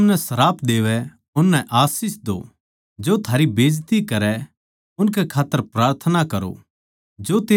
जो थमनै सराप देवै उननै आशीष दो जो थारी बेइज्जती करै उनकै खात्तर प्रार्थना करो